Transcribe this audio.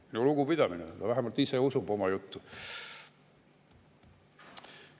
Minu lugupidamine, vähemalt ise usub oma juttu.